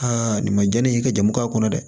nin ma jɛn ni ka jamu k'a kɔnɔ dɛ